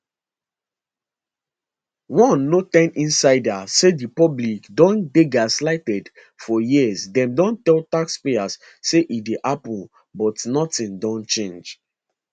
one no ten insider say di public don dey gaslighted for years dem don tell taxpayers say e dey happun but nothing don change